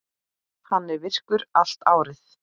Hann er virkur allt árið.